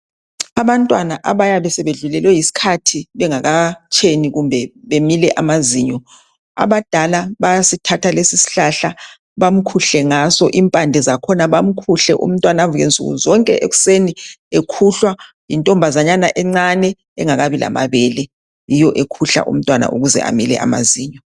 Abantwana abayabe sebedlulelwe yiskhathi bengakatsheni kumbe bemile amazinyo abadala bayasithatha lesisihlahla bamkhuhle ngaso impande zakhona bamkhuhle umntwana avuke nsukuzonke ekuseni ekhuhlwa yintombazanyana encane engakabi lamabele yiyo ekhuhla umntwana ukuze amile amazinyo.